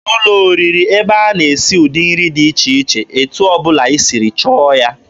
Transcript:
Ọ rụrụ ụlọ oriri ebe a na-esi ụdị nri dị iche iche, etu ọ bụla i siri chọọ ya.